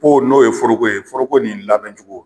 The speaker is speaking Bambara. n'o ye foroko ye, foroko nin labɛn cogo